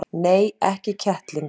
Nei, ekki kettling.